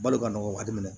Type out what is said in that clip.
Balo ka nɔgɔ a minɛ